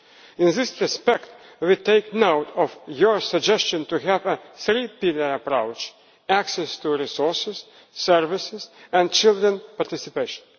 In this respect we take note of your suggestion to have a three pillar approach access to resources, services and children's participation.